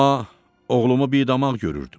Amma oğlumu bidamaq görürdüm.